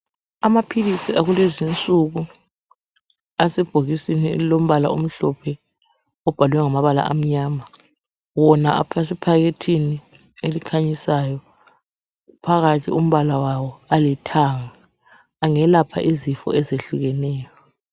Amaphilisi akulezinsuku asebhokisini elilombala omhlophe, obhalwe ngamabala amnyama wona asephakethini elikhanyisayo phakathi umbala wawo alithanga. Angelapha izifo ezihlukeneyo.